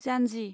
जानजि